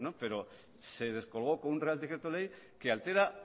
pero se descolgó con un real decreto ley que altera